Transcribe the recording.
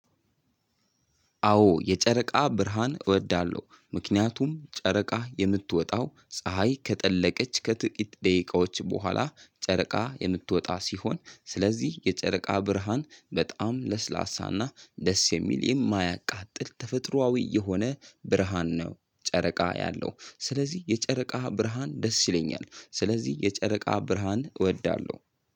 አዎ የጨረቃ ብርሃን እወዳለሁ። ምክንያቱም ጨረቃ የምትወጣው ፀሀይ ከጠለቀች ከጥቂት ደቂቃዎች በኋላ ጨረቃ የምትወጣ ሲሆን ስለዚህ የጨረቃ ብርሃን በጣም ለስላሳና ደስ የሚል የማያቃጥል ተፈጥሮአዊ የሆነ ብርሃን ነው። ጨረቃ ያለው ስለዚህ የጨረቃ ብርሃን ደስ ይለኛል ስለዚህ የጨረቃ ብርሃን እወዳለሁ።